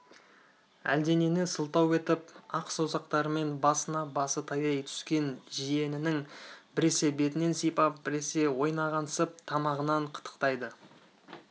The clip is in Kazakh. әлденені сылтау етіп ақ саусақтарымен басына басы таяй түскен жиенінің біресе бетінен сипап біресе ойнағансып тамағынан қытықтайды